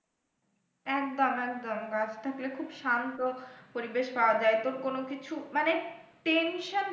একদম একদম, গাছ থাকলে খুব শান্ত পরিবেশ পাওয়া যায় তোর কোন কিছু মানে,